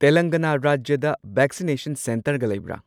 ꯇꯦꯂꯪꯒꯥꯅꯥ ꯔꯥꯖ꯭ꯌꯗ ꯚꯦꯛꯁꯤꯅꯦꯁꯟ ꯁꯦꯟꯇꯔꯒ ꯂꯩꯕꯔꯥ?